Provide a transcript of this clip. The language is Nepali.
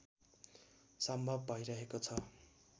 सम्भव भइरहेको छ